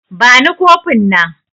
Bani kofin nan